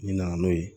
N'i nana n'o ye